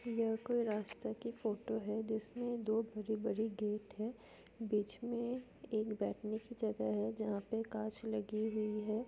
यह कोई रास्ता की फोटो है जिसमे दो भरी-भरी गेट है बीच में एक बैठने की जगह है जहाँ पे कांच लगी हुई है।